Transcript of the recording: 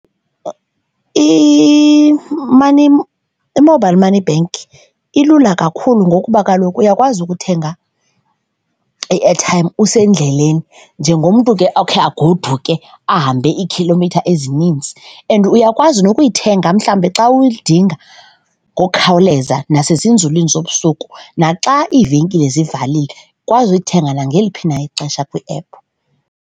I-money , i-mobile money bank ilula kakhulu ngokuba kaloku uyakwazi ukuthenga i-airtime usendleleni njengomntu ke okhe agoduke ahambe iikhilomitha ezininzi and uyakwazi nokuyithenga mhlawumbe xa uyidinga ngokhawuleza nasezinzuliwni zobusuku naxa iivenkile zivalile, ukwazi uyithenga nangalephi na ixesha kwiephu.